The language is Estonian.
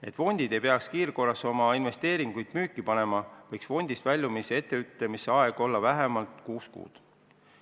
Et fondid ei peaks kiirkorras oma investeeringuid müüki panema, võiks fondist väljumise etteteatamise aeg olla vähemalt kuus kuud.